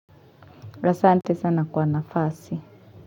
Asante sana kwa nafasi.